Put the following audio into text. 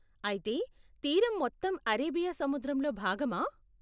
అయితే, తీరం మొత్తం అరేబియా సముద్రంలో భాగమా?